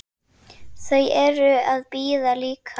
Hér er enda allt undir.